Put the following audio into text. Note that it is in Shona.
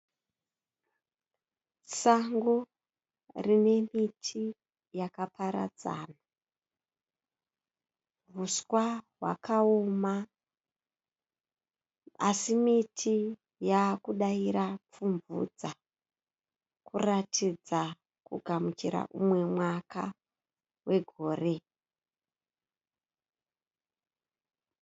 Sango rine miti yakaparadzana. Huswa hwakaoma asi miti yaakudaira pfumvudza kuratidza kugamuchira umwe mwaka wegore.